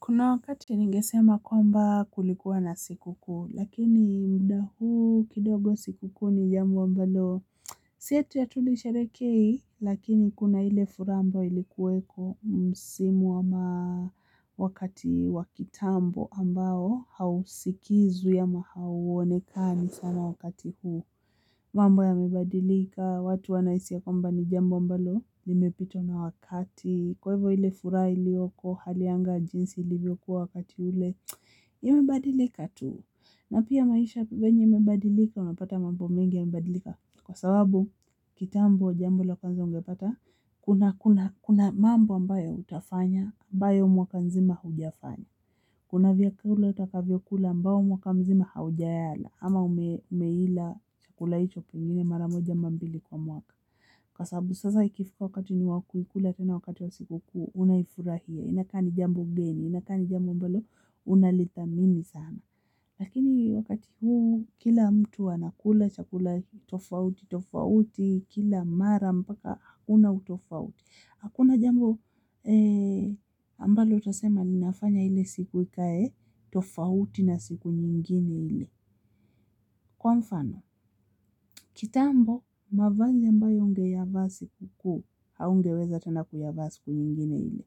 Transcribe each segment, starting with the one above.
Kuna wakati ningesema kwamba kulikuwa na sikukuu, lakini wakati huu kidogo sikukuu ni jambo ambalo. Si eti hatulisherehekei, lakini kuna ile furaha ambayo ilikuweko msimu au wakati wa kitambo ambao hausikizwi au hauonekani sana wakati huu. Mambo yamebadilika, watu wanahisi ya kwamba ni jambo ambalo limepitwa na wakati, kwa hivyo ile furaha iliyopo haiko jinsi ilivyokuwa wakati ule, imebadilika tu. Na pia maisha vente yamebadilika, umepata mambo mengi yamebadilika. Kwa sababu, kitambo jambo la kwanza ungepata, kuna mambo ambayo utafanya, ambayo mwaka mzima hujafanya. Kuna vyakula utakula ambavyo mwaka mzima haujayala ama umekila chakula hicho mara moja au mbili kwa mwaka. Kwa sababu sasa ikifika wakati wa kukula, kama wakati wa siku kuu, unaifurahia, inakuwa jambo geni, inakuwa jambo ambalo unalithamini sana. Lakini wakati huu kila mtu anakula chakula tofauti tofauti, kila mara mpaka hakuna tofauti. Hakuna jambo ambalo utasema ninafanya ile siku ikae tofauti na siku nyingine ile. Kwa mfano, kitambo mavazi ambayo ungeyavaa sikukuu, haungeweza kuyavaa siku nyingine kama hiyo.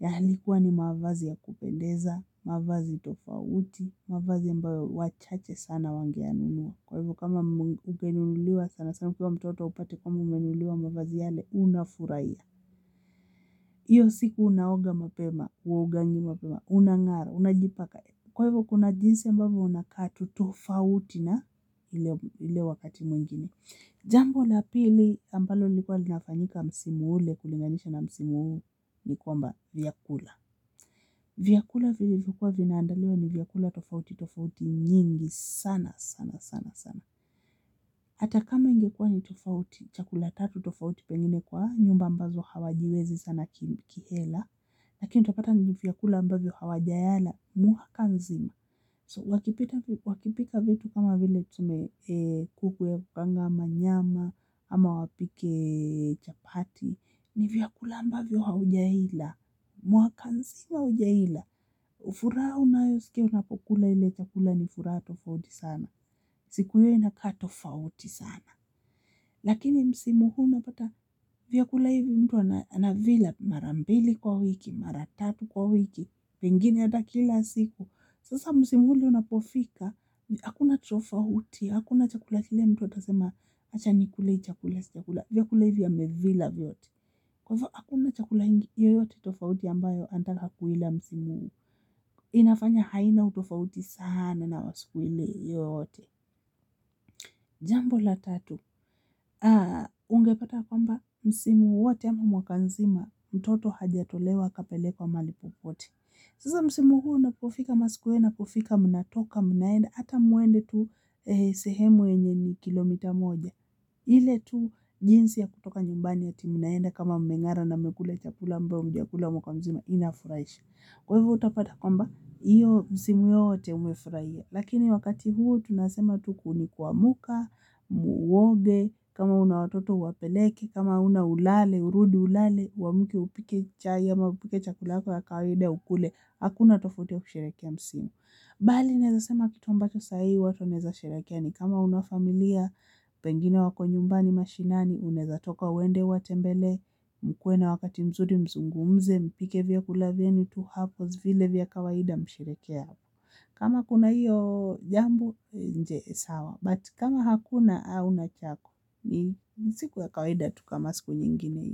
Yalikuwa ni mavazi ya kupendeza, mavazi tofauti, mavazi ambayo wachache sana wangeyanunua. Kwa hivyo kama ungenunuliwa sana sana ukiwa mtoto, upate kama umenunuliwa mavazi yale, unafurahia. Hiyo siku unaoga mapema, unaganya mapema, unang'ara, unajipaka. Kwa hivyo kuna jinsi ambavyo unakua tu tofauti na ile wakati mwingine. Jambo la pili ambalo lilikuwa linafanyika msimu ule ukulinganisha na msimu ule ni kwamba vyakula. Vyakula vilivyokuwa vinaandaliwa ni vyakula tofauti tofauti, nyingi sana sana sana sana. Hata kama ingekuwa tofauti, chakula tatu tofauti, pengine kwa nyumba ambazo hazijiwezi sana kihela. Lakini utapata ni vyakula ambavyo hawajayala mwaka mzima. So, wakipika vitu kama vile tuseme kuku ya kukaanga au nyama au wapike chapati, ni vyakula ambavyo haujaila mwaka mzima, haujaila. Furaha unayosikia unapokula ule chakula ni furaha tofauti sana. Siku hiyo inakaa tofauti sana. Lakini msimu huu unapata vyakula hivi, mtu anavila mara mbili kwa wiki, mara tatu kwa wiki. Pengine hata kila siku. Sasa msimu ule unapofika. Hakuna tofauti. Hakuna chakula kile mtu atasema acha nikule, sijakula. Vyakula hivi amevila vyote. Hakuna chakula yoyote tofauti ambacho anataka kuila msimu. Inafanya haina utofauti sana wa siku ile, yoyote. Jambo la tatu, ungepata kwamba msimu wote ama mwaka mzima, mtoto hajatolewa akapelekwa mahali popote. Sasa msimu huo unapofika, ama siku hiyo inapofika mnatoka, mnaenda, hata mwende tu sehemu yenye kilomita moja. Ile tu jinsi ya kutoka nyumbani, eti mnaenda kama mmeoga na mmekula chakula ambayo hamjakila mwaka mzima, inafurahisha. Kwa hivyo utapata kwamba msimu hiyo wote umefurahia. Lakini wakati huu tunasema siku ni kuamka, uoge, kama una watoto uwapeleke, kama huna ulale, urudi ulale. Uamke, upike chai au upike chakula chako cha kawaida ukule, hakuna tofauti ya kushiriki msimu. Bali naweza sema kitu ambacho saai watu wanaweza sherehekea ni kama huna familia. Pengine wako nyumbani mashinani, unaweza kutoka uende uwatembelee, mkuwe na wakati mzuri, mzungumze, mpike vyakula vyenu tu hapo ni vile vya kawaida, mshirikiane hapo. Kama kuna hiyo jambo nje sawa, but kama hakuna, au nakuta ni siku ya kawaida kama siku nyingine.